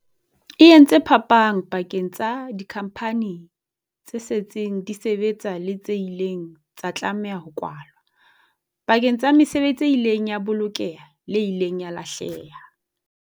E entse phapang pakeng tsa dikhampani tse setseng di sebetsa le tse ileng tsa tlameha ho kwalwa, pakeng tsa mesebetsi e ileng ya bolokeha le e ileng ya lahleha.